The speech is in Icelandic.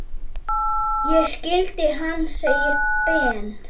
Ég skildi hann! segir Ben.